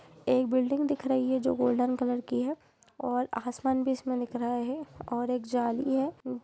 एक बिल्डिंग दिख रही है जो गोल्डन कलर की है और आसमान भी इसमें दिख रहा है और एक जाल भी है।